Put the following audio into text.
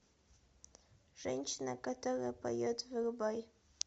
женщина которая поет врубай